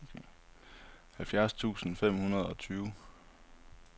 halvfjerds tusind fem hundrede og tyve